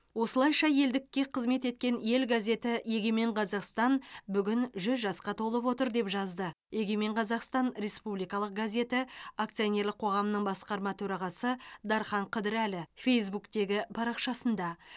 осылайша елдікке қызмет еткен ел газеті егемен қазақстан бүгін жүз жасқа толып отыр деп жазды егемен қазақстан республикалық газеті акционерлік қоғамының басқарма төрағасы дархан қыдырәлі фейзбуктегі парақшасында